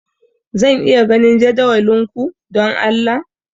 Zan iya ganin jadawalin ku, don Allah?